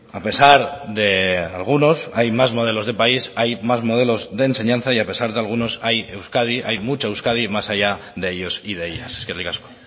a pesar de algunos hay más modelos de país hay más modelos de enseñanza y a pesar de algunos hay euskadi hay mucha euskadi más allá de ellos y de ellas eskerrik asko